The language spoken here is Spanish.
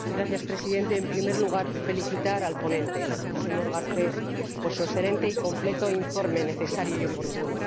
Señor Presidente, en primer lugar, quiero felicitar al ponente, el señor Garcés, por su excelente y completo informe, necesario y oportuno.